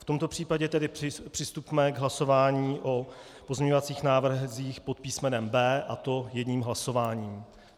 V tomto případě tedy přistupme k hlasování o pozměňovacích návrzích pod písmenem B, a to jedním hlasováním.